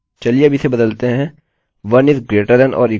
चलिए अब इसे बदलते हैं 1 >= 1